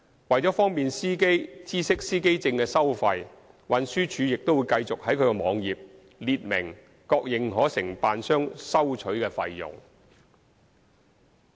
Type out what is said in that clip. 為方便司機知悉司機證的收費，運輸署會繼續在其網頁列明各認可承辦商收取的費用。